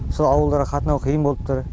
сол ауылдарға қатынау қиын болып тұр